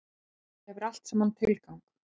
Þetta hefur allt saman tilgang.